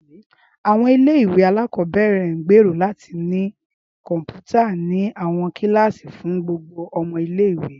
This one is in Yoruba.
Áwọn ìle-ìwe alakọbẹrẹ n gbero lati ni kọnputa ni awọn kilasi fun gbogbo ọmọ ìle-ìwe.